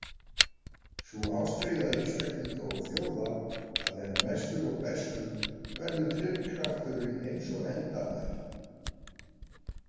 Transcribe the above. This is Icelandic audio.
Sú ástríða einstaklinga og þjóða að vera mestur og bestur verður drifkrafturinn eins og endranær.